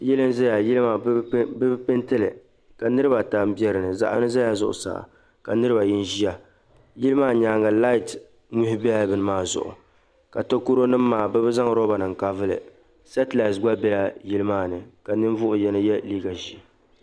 Yili n zaya yili maa bɛ bi peetili ka niriba ata bɛ dini zaɣ'yino zala zuɣusaa ka niriba ayi ʒiya yili maa nyaaŋa laati Mihi bɛla bɛni maa zuɣu ka takɔronima ka bi zaŋ lɔba kavulli setilati gba bɛla yili maani ka ninvuɣ'yino ye liiga ʒee.